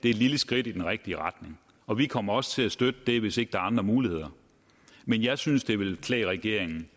er et lille skridt i den rigtige retning og vi kommer også til at støtte det hvis ikke der er andre muligheder men jeg synes det ville klæde regeringen